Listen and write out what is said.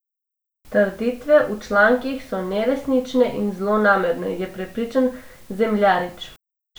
Trditve v člankih so neresnične in zlonamerne, je prepričan Zemljarič.